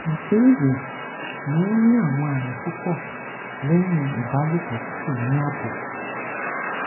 ìbéèrè mo n ni awon ami pupo lehin ibalopo ti ko ni abo